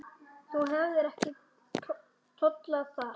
Þú hefðir ekki tollað þar.